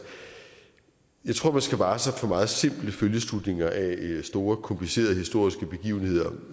jeg tror at man skal vare sig for meget simple følgeslutninger af store komplicerede historiske begivenheder